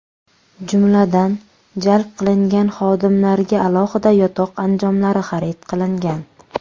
Jumladan, jalb qilingan xodimlarga alohida yotoq anjomlari xarid qilingan.